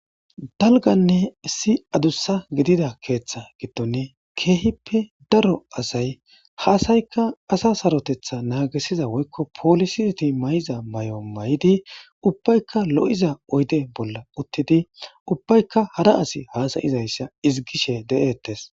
Dalganne si adussa gidida keeththa giddone keehippe daro asay haasaykka asa sarotetha naagisiza woykko poolisiti may7iza may7o may7idi ubbaykka lo7iza oyde bolla uttidi ubbayka hara asi haasayizayssa izigishe de7ettes.